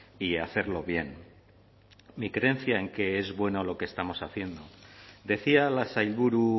y hacerlo bien mi creencia en que es bueno lo que estamos haciendo decía la sailburu